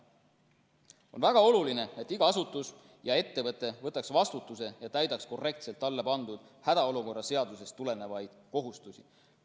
On väga oluline, et iga asutus ja ettevõte võtaks vastutuse ja täidaks korrektselt talle pandud hädaolukorra seadusest tulenevaid kohustusi.